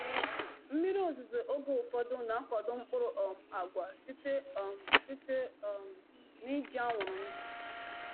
Mmiri ozuzo oge ụfọdụ na-akwado mkpụrụ um agwa site um site um n’iji anwụrụ ndụ.”